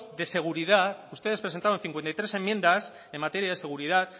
de seguridad ustedes presentaron cincuenta y tres enmiendas en materia de seguridad